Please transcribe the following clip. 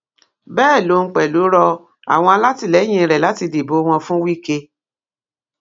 bẹẹ lòun pẹlú rọ àwọn alátìlẹyìn rẹ láti dìbò wọn fún wike